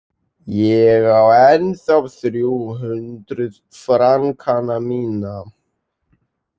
Ég á ennþá þrjú hundruð frankana mína.